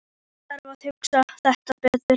Ég þarf að hugsa þetta betur.